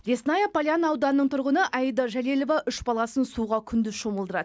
лесная поляна ауданының тұрғыны аида жәлелова үш баласын суға күндіз шомылдырады